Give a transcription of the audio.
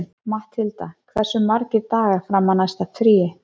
Matthilda, hversu margir dagar fram að næsta fríi?